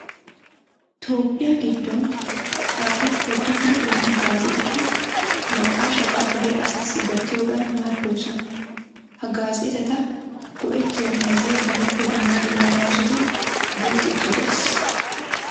Toophphiya giddon xaafettiya dumma dumma gaazeexati naqaashata dere asaassi gattiyogan maaddoosona. Ha gaazeexata go"ettiyo meezee benippe dumma dumma gaasotun guuxxiiddi de'ees.